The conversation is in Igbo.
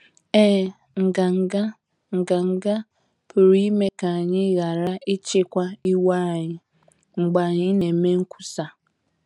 Ee, nganga, nganga pụrụ ime ka anyị ghara ịchịkwa iwe anyị mgbe anyị na - eme nkwusa.